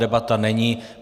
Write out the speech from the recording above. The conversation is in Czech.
Debata není.